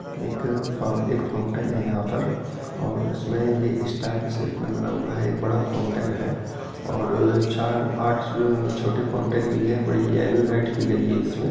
एक फाउ एक फाउंटेन है यहाँ पर और इसमे ये स्टार की शेप मै बना हुआ है एक बड़ा फाउंटेन है और चार आठ छोटे फाउंटेन भी है बड़ी येलो लाइट की गयी है इसमें--